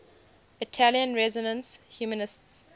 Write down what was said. italian renaissance humanists